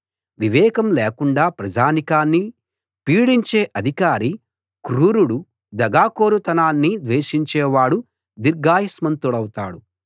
వివేకం లేకుండా ప్రజానీకాన్ని పీడించే అధికారి క్రూరుడు దగాకోరుతనాన్ని ద్వేషించేవాడు దీర్ఘాయుష్మంతుడౌతాడు